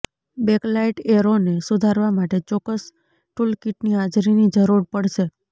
bakelite એરોને સુધારવા માટે ચોક્કસ ટૂલકીટની હાજરીની જરૂર પડશે